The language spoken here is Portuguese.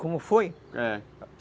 Como foi? É.